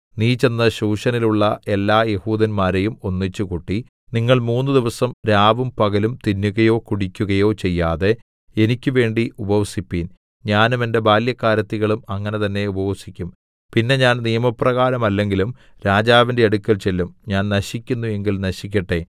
നീ ചെന്ന് ശൂശനിൽ ഉള്ള എല്ലാ യെഹൂദന്മാരെയും ഒന്നിച്ചുകൂട്ടി നിങ്ങൾ മൂന്ന് ദിവസം രാവും പകലും തിന്നുകയോ കുടിക്കുകയോ ചെയ്യാതെ എനിക്ക് വേണ്ടി ഉപവസിപ്പിൻ ഞാനും എന്റെ ബാല്യക്കാരത്തികളും അങ്ങനെ തന്നേ ഉപവസിക്കും പിന്നെ ഞാൻ നിയമപ്രകാരമല്ലെങ്കിലും രാജാവിന്റെ അടുക്കൽ ചെല്ലും ഞാൻ നശിക്കുന്നു എങ്കിൽ നശിക്കട്ടെ